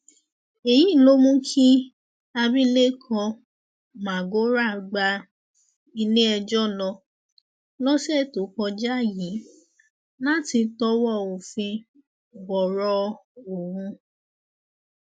èyí ló mú kí abilékọ magora gba iléẹjọ lọ lọsẹ tó kọjá yìí láti tọwọ òfin bọrọ ọhún